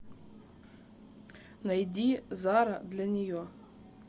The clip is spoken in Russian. найди зара для нее